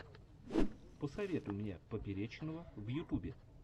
посоветуй мне поперечного в ютубе